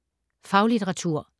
Faglitteratur